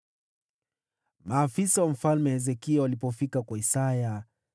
Maafisa wa Mfalme Hezekia walipofika kwa Isaya,